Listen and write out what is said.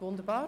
Wunderbar